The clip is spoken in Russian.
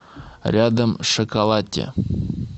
рядом шоколатте